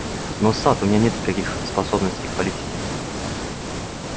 но сатт у меня нет никаких способностей к политике